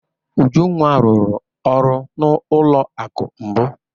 Ujunwa rụrụ ọrụ n'ụlọ akụ mbụ.